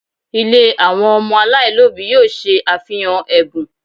Ilé àwọn ọmọ aláìlóbìí yóò ṣe àfihàn ẹ̀bùn